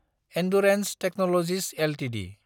Endurance technologies Ltd